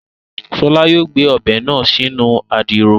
Ṣọlá yóò gbé Ọbẹ̀ náà sínú Àdìrò